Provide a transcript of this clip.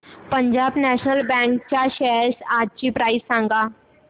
Punjab national bank च्या shares आजची price सांगा